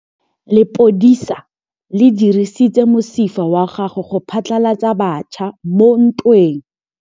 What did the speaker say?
Lepodisa le dirisitse mosifa wa gagwe go phatlalatsa batšha mo ntweng.